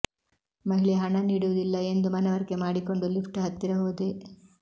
ಮಹಿಳೆ ಹಣ ನೀಡುವುದಿಲ್ಲ ಎಂದು ಮನವರಿಕೆ ಮಾಡಿಕೊಂಡು ಲಿಫ್ಟ್ ಹತ್ತಿರ ಹೋದೆ